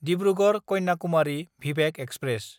दिब्रुगड़–कन्याकुमारि भिभेक express